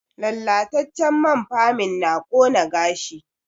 Lallatacen man ferming na ƙona gashi